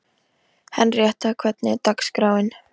Henríetta, hvernig er dagskráin?